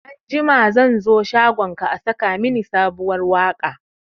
Anjima zan zo shagonka a saka mini sabuwar waka